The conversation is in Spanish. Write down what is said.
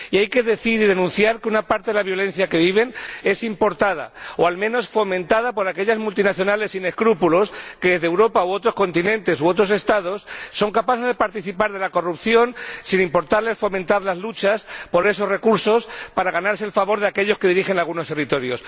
Y hay que decir y denunciar que una parte de la violencia que viven es importada o, al menos, fomentada por aquellas multinacionales sin escrúpulos que, de Europa o de Estados de otros continentes, son capaces de participar de la corrupción sin importarles fomentar las luchas por esos recursos para ganarse el favor de aquellos que dirigen algunos territorios.